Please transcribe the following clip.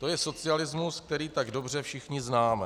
To je socialismus, který tak dobře všichni známe.